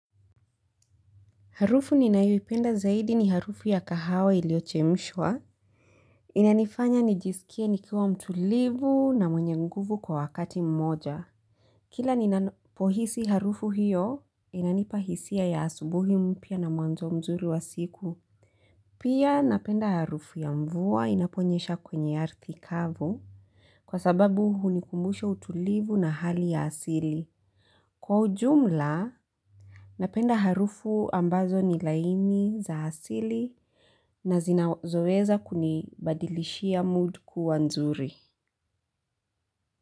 Harufu ninayoipenda zaidi ni harufu ya kahawa iliochemshwa. Inanifanya nijiskie nikiwa mtulivu na mwenye nguvu kwa wakati mmoja. Kila ninapohisi harufu hiyo, inanipa hisia ya asubuhi mpya na mwanzo mzuri wa siku. Pia napenda harufu ya mvua inaponyesha kwenye ya ardhi kavu kwa sababu hunikumbusha utulivu na hali ya asili. Kwa ujumla, napenda harufu ambazo ni laini za asili. Na zinazoeza kunibadilishia mood kwa nzuri.